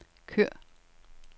kør